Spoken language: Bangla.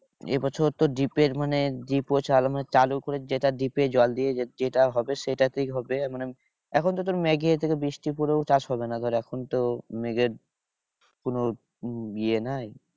এ বছর তোর ডিপের মানে ডিপো চালু করেছে যেটা ডিপে জলে দিয়ে যেটা হবে সেটাতেই হবে। মানে এখন তো তোর আছে তোর বৃষ্টি পরেও চাষ হবে না। ধর এখন তো নিজের কোনো ইয়ে নাই।